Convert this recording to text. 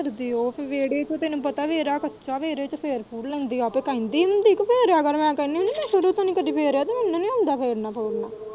ਵਿਹੜੇ ਚ ਨੀ ਫੇਰਦੀ ਉਹ ਵਿਹੜੇ ਚ ਤੈਨੂੰ ਪਤਾ ਵਿਹੜਾ ਕੱਚਾ ਵਿਹੜੇ ਚ ਫੇਰ-ਫੂਰ ਲੈਂਦੀ ਏ ਤੇ ਕਹਿੰਦੀ ਤੂੰ ਵੀ ਫੇਰੇ ਆ ਕਰ ਮੈਂ ਕਹਿਣੀ ਹੁਣੀ ਮੈਂ ਸ਼ੁਰੂ ਤੋਂ ਨੀ ਕਦੇ ਫੇਰਿਆ ਤੇ ਮੈਨੂੰ ਨੀ ਆਉਦਾ ਫੇਰਨੇ-ਫੂਰਨਾ।